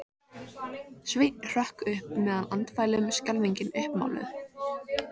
Sveinn hrökk upp með andfælum, skelfingin uppmáluð.